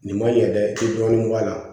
Nin man yɛlɛ dɔɔnin a la